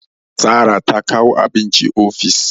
Sara ta kawo abinci ofis